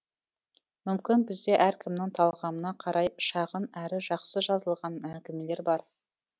мүмкін бізде әркімнің талғамына қарай шағын әрі жақсы жазылған әңгімелер бар